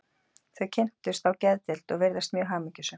Þau kynntust á geðdeild og virðast mjög hamingjusöm.